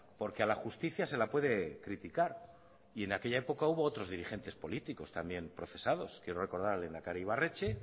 porque a la justicia se la puede criticar y en aquella época hubo otros dirigentes políticos también procesados quiero recordar al lehendakari ibarretxe